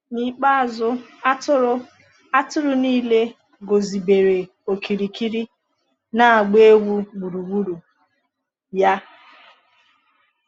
N’ikpeazụ, atụrụ atụrụ niile guzobere okirikiri, na-agba egwu gburugburu ya.